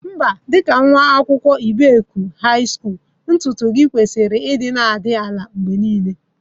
Mba, dị ka nwa akwụkwọ nke Ibeku High Skulu, ntutu gi kwesịrị ịdị na-adị ala mgbe niile